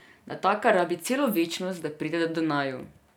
Natakar rabi celo večnost, da pride do naju.